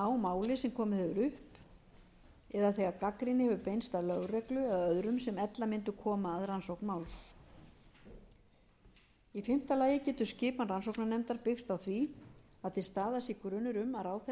máli sem komið hefur upp eða þegar gagnrýni hefur beinst að lögreglunni eða öðrum sem ella mundu koma að rannsókn máls í fimmta lagi getur skipan rannsóknarnefndar byggst á því að til staðar sé grunur um að ráðherra hafi